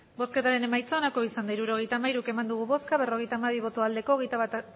hirurogeita hamairu eman dugu bozka berrogeita hamabi bai hogeita bat